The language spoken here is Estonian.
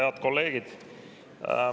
Head kolleegid!